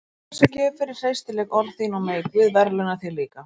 Hafðu þessa gjöf fyrir hreystileg orð þín og megi Guð verðlauna þig líka.